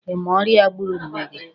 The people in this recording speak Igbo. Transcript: Ị ma ọrịa gburu nne gị?